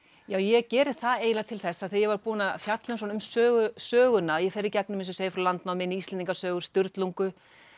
ég geri það eiginlega til þess að þegar ég var búin að fjalla um söguna söguna fer í gegnum eins og ég segi frá landnámi í Íslendingasögur Sturlungu